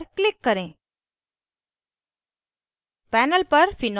ok button पर click करें